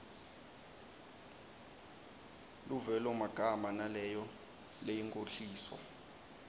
luvelomagama naleyo leyinkhohliso